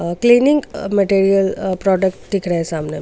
Cleaning material product दिख रहे हैं सामने.